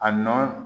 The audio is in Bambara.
A nɔ